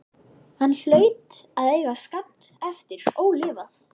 Hann hlaut að eiga skammt eftir ólifað.